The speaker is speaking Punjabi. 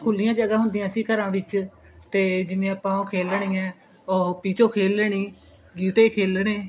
ਕਿਉਂ ਖੁਲਿਆ ਜਗਾ ਹੁੰਦਿਆ ਸੀ ਘਰਾਂ ਵਿੱਚ ਤੇ ਜਿਵੇਂ ਆਪਾਂ ਉਹ ਖੇਲਣੀਆ ਨੇ ਉਹ ਪੀਚੋ ਖੇਲ ਲੇਣੀ ਗਿਟੇ ਖੇਲਨੇ